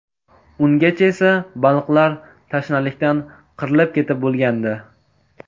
Ungacha esa baliqlar tashnalikdan qirilib ketib bo‘lgandi.